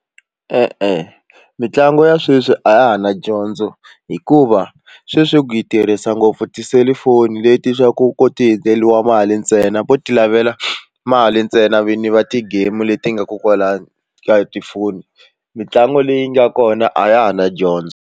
Ee mitlangu ya sweswi a ya ha na dyondzo hikuva sweswi ku yi tirhisa ngopfu tiselifoni leti swa ku ku ti endleriwa mali ntsena vo ti lavela mali ntsena vini va ti-game leti nga ko kwalano ku tifoni mitlangu leyi nga kona a ya ha na dyondzo.